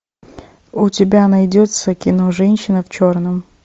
у тебя найдется кино женщина в черном